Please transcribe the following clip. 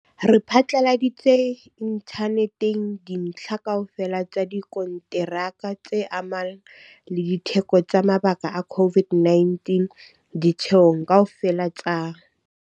Re phatlaladitse inthaneteng dintlha kaofela tsa dikonteraka tse amanang le ditheko tsa mabaka a COVID-19 ditheong kaofela tsa